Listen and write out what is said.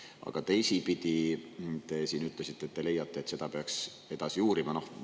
Aga teisipidi te siin ütlesite, et te leiate, et seda peaks edasi uurima.